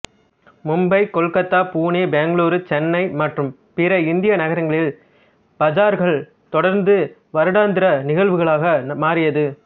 மும்பை கொல்கத்தா புனே பெங்களூரு சென்னை மற்றும் பிற இந்திய நகரங்களில் பஜார்கள் தொடர்ந்து வருடாந்திர நிகழ்வுகளாக மாறியது